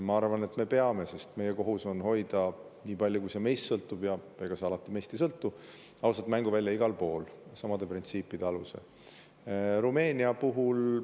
Mina arvan, et me peame, sest meie kohus on hoida nii palju, kui see meist sõltub – ja ega see alati meist ei sõltu –, samade printsiipide alusel ausat mänguvälja igal pool.